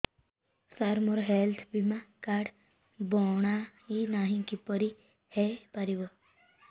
ସାର ମୋର ହେଲ୍ଥ ବୀମା କାର୍ଡ ବଣାଇନାହିଁ କିପରି ହୈ ପାରିବ